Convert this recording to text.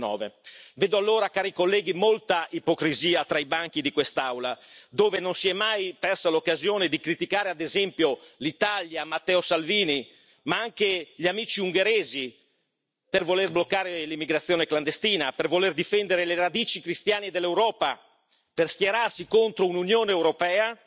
2019. Vedo, allora, cari colleghi, molta ipocrisia tra i banchi di quest'Aula, dove non si è mai persa l'occasione di criticare, ad esempio, l'Italia, Matteo Salvini, ma anche gli amici ungheresi per voler bloccare l'immigrazione clandestina, per voler difendere le radici cristiane dell'Europa per schierarsi contro un'Unione europea